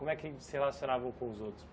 Como é que se relacionavam com os outros?